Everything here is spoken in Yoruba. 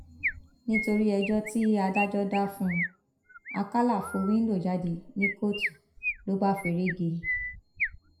nítorí ẹjọ tí adájọ dá fún un àkàlà fọ wíńdò jáde ní kóòtù ló bá feré gé e